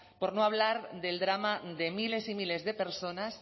por no hablar del drama de miles y miles de personas